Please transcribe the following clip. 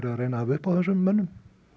að reyna að hafa upp á þessum mönnum